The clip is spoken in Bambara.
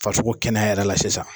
Farisoko kɛnɛya yɛrɛ la sisan.